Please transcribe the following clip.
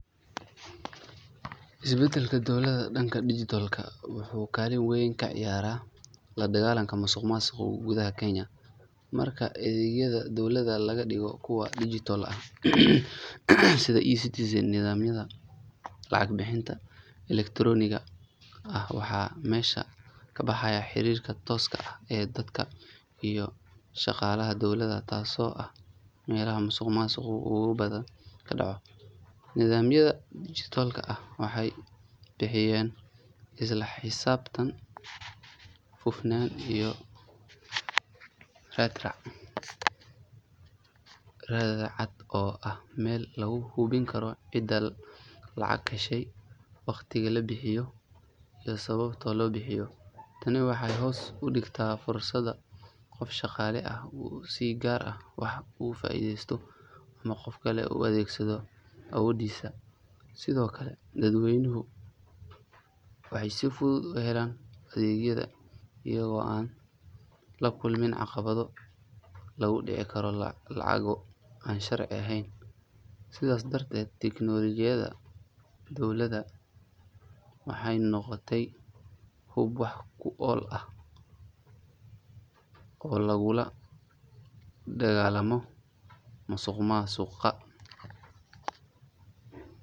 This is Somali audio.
Isbeddelka dowladda dhanka dijitaalka ah wuxuu kaalin weyn ka ciyaaray la dagaallanka musuqmaasuqa gudaha Kenya. Marka adeegyada dowladda laga dhigo kuwa dijitaal ah sida eCitizen iyo nidaamyada lacag-bixinta elektarooniga ah, waxaa meesha ka baxaya xiriirka tooska ah ee dadka iyo shaqaalaha dowladda taasoo ah meelaha musuqmaasuqa ugu badan ka dhaco. Nidaamyada dijitaalka ah waxay bixiyaan isla xisaabtan, hufnaan iyo raad-raac cad oo ah meel lagu hubin karo cidda lacag heshay, waqtiga la bixiyay iyo sababta loo bixiyay. Tani waxay hoos u dhigtaa fursadda qof shaqaale ah uu si gaar ah wax uga faa'iideysto ama qof kale u adeegsado awooddiisa. Sidoo kale, dadweynuhu waxay si fudud u helayaan adeegyada iyagoo aan la kulmin caqabado lagu dhici karo lacago aan sharci ahayn. Sidaas darteed, tiknoolojiyadda dowladda waxay noqotay hub wax ku ool ah oo lagula dagaallamo musuqmaasuqa.